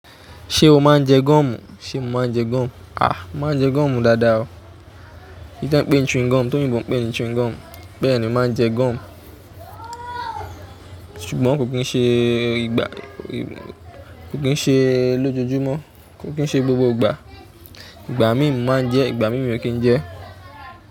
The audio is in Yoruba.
Ṣé o máa ń jẹ goọ́mù? Sé mo máa ń jẹ goọ́mù? A! Mo máa ń jẹ gúọ́mù dáadáa o. Tí wọ́n ń pè é chewing gum, tóyíbo ń pè é chewing gum. Bẹ́ẹ̀ni mo máa ń jẹ goọ́mù. Ṣùgbọ́n kò kí ń ṣe gbogbo ìgbà, kò kín ń ṣe lójoojúmọ́, kò kín ń ṣe gbogbo ìgbà. Igba mii mo maa n je, igba mio kin je.